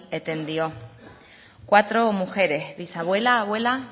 eten dio cuatro mujeres bisabuela abuela